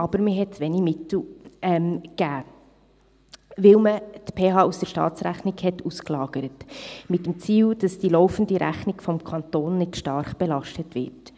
Man gab aber wenige Mittel, weil man die PH aus der Staatsrechnung ausgelagert hatte, mit dem Ziel, dass die laufende Rechnung des Kantons nicht zu stark belastet wird.